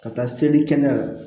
Ka taa seli kɛnɛ la